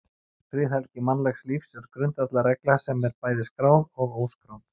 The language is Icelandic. Friðhelgi mannlegs lífs er grundvallarregla sem er bæði skráð og óskráð.